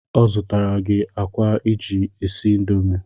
Ọ zụtara gị akwa iji esi indomi